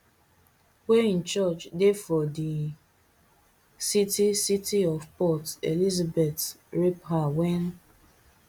wey im church dey for di city city of port elizabeth rape her wen